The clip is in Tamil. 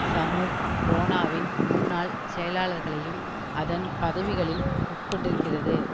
சமூப் ரோனாவின் முன்னாள் செயலர்களையும் அதன் பதவிகளில் உட்கொண்டிருக்கிறது